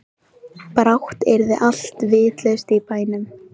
Brátt yrði allt vitlaust í bænum.